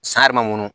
San yɛrɛ ma ŋɔnɔ